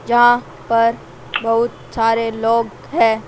जहां पर बहुत सारे लोग हैं।